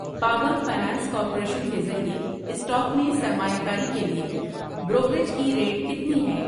Power finance corporation کے ذریعے stock میں سرمایہ کاری کے لیے بروکریج کی ریٹ کتنی ہے؟